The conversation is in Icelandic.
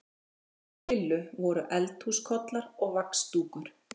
Heima hjá Lillu voru eldhúskollar og vaxdúkur.